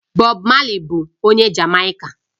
Bob Marley bụ onye Jamaica